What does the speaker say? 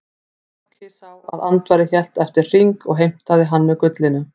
Loki sá að Andvari hélt eftir hring og heimtaði hann með gullinu.